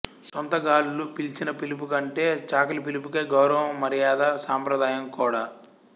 స్వంత గాళ్లు పిలిచిన పిలిపు కంటే చాకలి పిలుపుకే గౌరవం మర్యాద సాంప్రదాయం కూడ